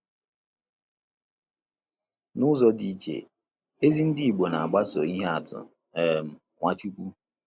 N’ụzọ dị iche, ezi ndị Igbo na-agbaso ihe atụ um Nwachukwu.